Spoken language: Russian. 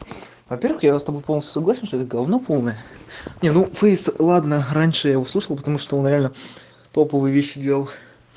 во-первых я с тобой полностью согласен что это говно полное не ну фейс ладно раньше я услышал потому что он реально топовые вещи делал